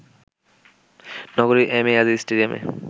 নগরীর M A Aziz স্টেডিয়ামে